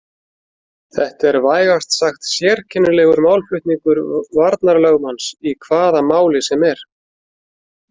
Þetta er vægast sagt sérkennilegur málflutningur varnarlögmanns í hvaða máli sem er.